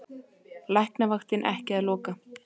Læknavaktin ekki að loka